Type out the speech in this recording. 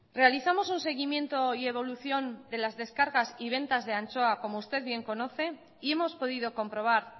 realizamos un seguimiento y evolución de las descargas y ventas de anchoa como usted bien conoce y hemos podido comprobar